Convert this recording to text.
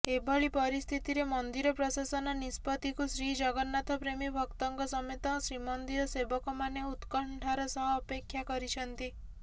ଏଭଳି ପରିସ୍ଥିତିରେ ମନ୍ଦିର ପ୍ରଶାସନ ନିଷ୍ପତ୍ତିକୁ ଶ୍ରୀଜଗନ୍ନାଥପ୍ରେମୀ ଭକ୍ତଙ୍କ ସମେତ ଶ୍ରୀମନ୍ଦିର ସେବକମାନେ ଉତ୍କଣ୍ଠାର ସହ ଅପେକ୍ଷା କରିଛନ୍ତି